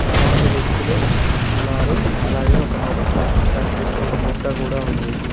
చాలామంది వ్యక్తులు ఉన్నారు అలాగే ఒక మొక్క దాని చుట్టూ ఒక బుట్ట కూడా ఉంది.